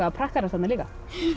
að prakkarast þarna líka